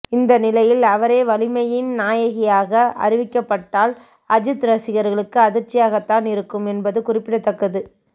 இந்த நிலையில் அவரே வலிமையின் நாயகியாக அறிவிக்கப்பட்டால் அஜித் ரசிகர்களுக்கு அதிர்ச்சியாகத்தான் இருக்கும் என்பது குறிப்பிடத்தக்கது